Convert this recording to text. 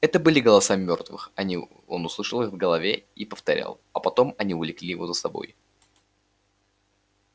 это были голоса мёртвых они он услышал их в голове и повторял а потом они увлекли его за собой